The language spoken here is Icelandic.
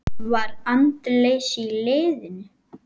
Var andleysi í liðinu?